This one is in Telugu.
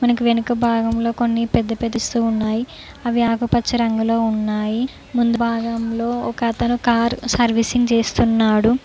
మనకు వెనుక భాగంలో కొన్ని పెద్ద పెద్ద ఉన్నాయి అవి ఆకుపచ్చ రంగులో ఉన్నాయి ముందు భాగంలో ఒక అతను కారు సర్వీసింగ్ చేస్తున్నాడు.